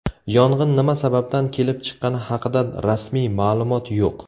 Yong‘in nima sababdan kelib chiqqani haqida rasmiy ma’lumot yo‘q.